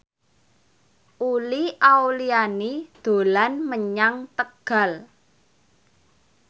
Uli Auliani dolan menyang Tegal